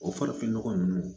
O farafinnɔgɔ ninnu